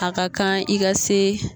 A ka kan i ka se